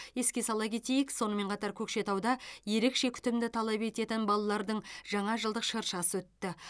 еске сала кетейік сонымен қатар көкшетауда ерекше күтімді талап ететін балалардың жаңа жылдық шыршасы өтті